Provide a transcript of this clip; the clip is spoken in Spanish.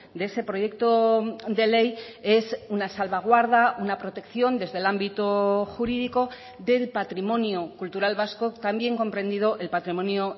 de ese proyecto de ley es una salvaguarda una protección desde el ámbito jurídico del patrimonio cultural vasco también comprendido el patrimonio